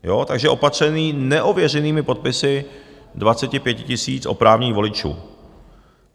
Takže opatřený neověřenými podpisy 25 000 oprávněných voličů.